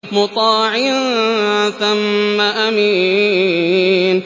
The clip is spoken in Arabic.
مُّطَاعٍ ثَمَّ أَمِينٍ